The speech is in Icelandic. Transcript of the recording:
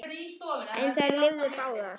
En þær lifðu báðar.